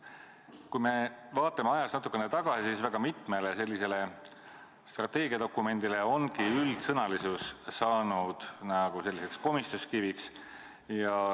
Kui me vaatame ajas natuke tagasi, siis väga mitmele sellisele strateegiadokumendile ongi üldsõnalisus saanud komistuskiviks.